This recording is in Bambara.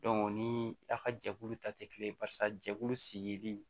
o ni a ka jɛkulu ta tɛ kelen barisa jɛkulu sigilen